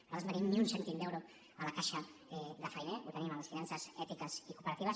nosaltres no tenim ni un cèntim d’euro a la caixa de fainé ho tenim a les finances ètiques i cooperatives